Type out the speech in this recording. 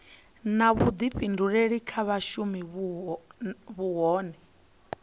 na vhuḓifhinduleli kha vhashumi nahone